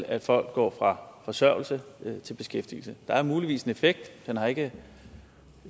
at folk går fra forsørgelse til beskæftigelse der er muligvis en effekt man har ikke